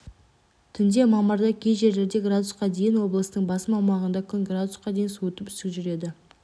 түнде мамырда кей жерлерде градусқа дейін облыстың басым аумағында күн градусқа дейін суытып үсік жүреді